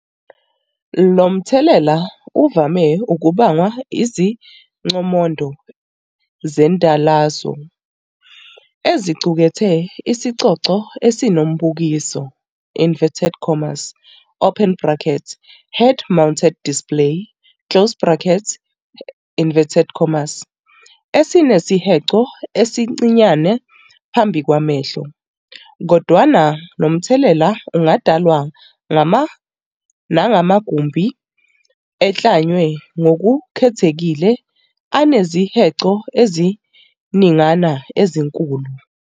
Lomthelela uvame ukubangwa iziqomondo zendwalazo eziqukethe isigcogco esinombukiso "head-mounted display" esinesihenqo esincinyane phambi kwamehlo, kodwana nomthelela ungadalwa nangamagumbi eklanywe ngokukhethekile anezihenqo eziningana ezinkulu.